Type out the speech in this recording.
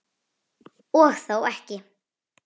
Og þó ekki!